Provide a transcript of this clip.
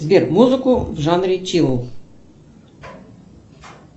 сбер музыку в жанре чил